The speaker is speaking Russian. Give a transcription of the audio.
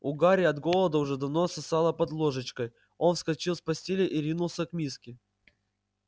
у гарри от голода уже давно сосало под ложечкой он вскочил с постели и ринулся к миске